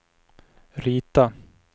rita